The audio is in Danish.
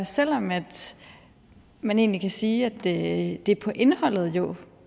selv om man man egentlig kan sige at det på indholdet jo